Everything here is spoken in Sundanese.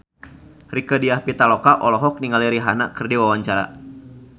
Rieke Diah Pitaloka olohok ningali Rihanna keur diwawancara